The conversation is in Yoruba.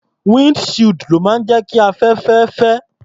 Wínd shield ló ń jẹ́ kí afẹ́fẹ́ fẹ́.